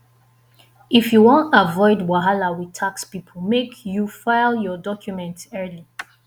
if you wan avoid wahala wit tax pipo make you file your documents early